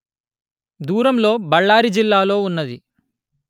దూరం లో బళ్ళారి జిల్లాలో ఉన్నది